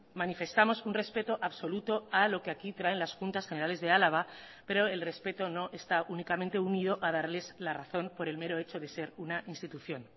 manifestamos un respeto absoluto a lo que aquí traen las juntas generales de álava pero el respeto no está únicamente unido a darles la razón por el mero hecho de ser una institución